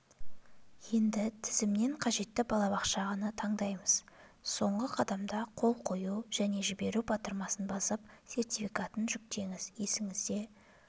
енді тізімнен қажетті балабақшаны таңдаймыз соңғы қадамда қол қою және жіберу батырмасын басып сертификатын жүктеңіз есіңізде